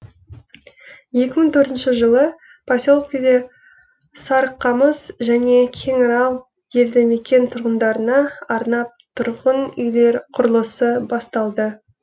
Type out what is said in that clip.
екі мың төртінші жылы поселкеде сарықамыс және кеңарал елді мекен тұрғындарына арнап тұрғын үйлер құрылысы басталды